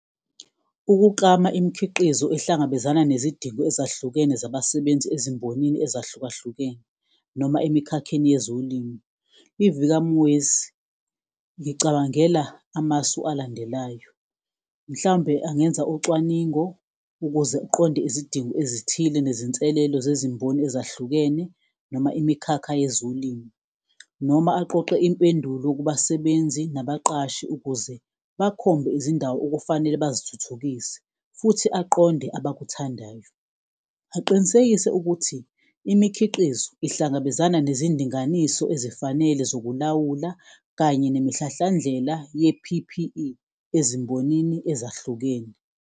Ukuklama imikhiqizo ehlangabezana nezidingo ezahlukene zabasebenzi ezimbonini ezahlukahlukene noma emikhakheni yezolimu, iVika ngicabangela amasu alandelayo. Mhlawumbe angenza ucwaningo ukuze uqonde izidingo ezithile nezinselelo zezimboni ezahlukene noma imikhakha yezolimo, noma aqoqe impendulo kubasebenzi nabaqashi ukuze bakhombe izindawo okufanele bazithuthukise futhi aqonde abakuthandayo. Aqinisekise ukuthi imikhiqizo ihlangabezana nezindinganiso ezifanele zokulawula, kanye nemihlahlandlela ye-P_P_E ezimbonini ezahlukene.